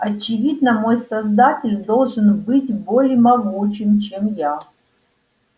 очевидно мой создатель должен быть более могучим чем я